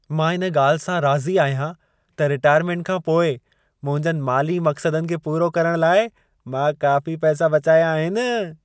मां इन ॻाल्हि सां राज़ी आहियां त रिटाइरमेंट खां पोइ मुंहिंजनि माली मक़्सदनि खे पूरो करणु लाइ मां काफ़ी पैसा बचाया आहिनि।